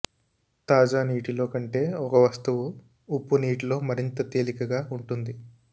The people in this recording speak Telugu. తాజా నీటిలో కంటే ఒక వస్తువు ఉప్పు నీటిలో మరింత తేలికగా ఉంటుంది